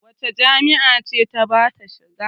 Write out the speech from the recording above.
Wace jami'a ce ta ba ta shiga?